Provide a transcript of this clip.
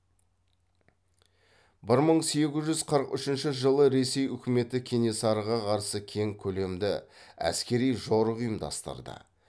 бір мың сегіз жүз қырық үшінші жылы ресей үкіметі кенесарыға қарсы кең көлемді әскери жорық ұйымдастырды